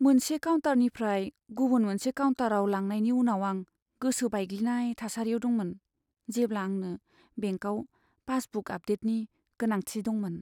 मोनसे काउन्टारनिफ्राय गुबुन मोनसे काउन्टाराव लांनायनि उनाव आं गोसो बायग्लिनाय थासारियाव दंमोन, जेब्ला आंनो बेंकाव पासबुक आपडेटनि गोनांथि दंमोन।